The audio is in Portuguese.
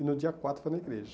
E no dia quatro foi na igreja.